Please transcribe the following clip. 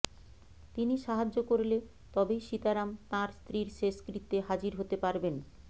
তিনি সাহায্য করলে তবেই সীতারাম তাঁর স্ত্রীর শেষকৃত্যে হাজির হতে পারবেন